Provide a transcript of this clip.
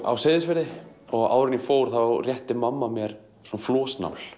á Seyðisfirði og áður en ég fór rétti mamma mér